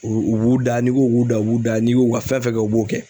U u b'u da n'i ko k'u da u b'u da n'i ko u ka fɛn fɛn kɛ u b'o kɛ.